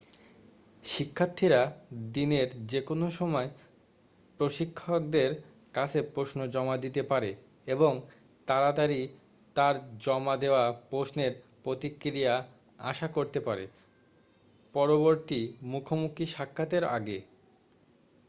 শিক্ষাথীরা দিনের যেকোনো সময় প্রশিক্ষকদের কাছে প্রশ্ন জমা দিতে পারে এবং তাড়াতাড়ি তার জমা দেওয়া প্রশ্নের প্রতিক্রিয়া আশা করতে পারে পরবর্তী মুখোমুখি সাক্ষাতের আগেই